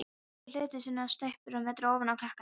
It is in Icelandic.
Síðari hluta sumars er tæpur metri ofan á klakann þeim.